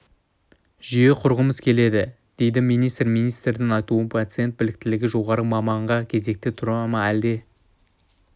жүйе құрғымыз келеді дейді министр министрдің айтуынша пациент біліктілігі жоғары маманға кезекке тұра ма әлде